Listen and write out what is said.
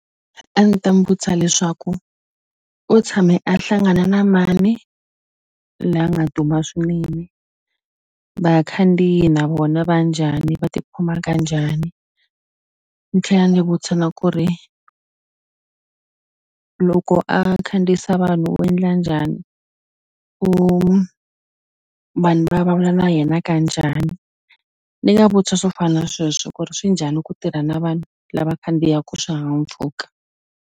A ndzi ta n'wi vutisa leswaku u tshame a hlangana na mani la nga duma swinene vakhandziyi na vona va njhani va tikhoma ka njhani ni tlhela ni vutisa na ku ri loko a khandziyisa vanhu u endla njhani u vanhu va vulavula na yena ka njhani ni nga vutisa swo fana na sweswo ku ri swi njhani ku tirha na vanhu lava khandziyaku swihahampfhuka.